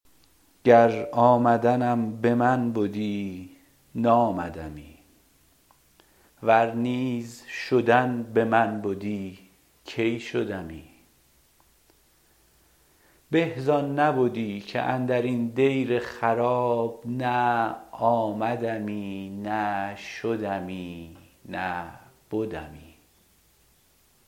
گر آمدنم به من بدی نامدمی ور نیز شدن به من بدی کی شدمی به زان نبدی که اندر این دیر خراب نه آمدمی نه شدمی نه بدمی